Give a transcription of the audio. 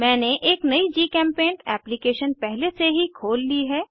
मैंने एक नयी जीचेम्पेंट एप्लीकेशन पहले से ही खोल ली है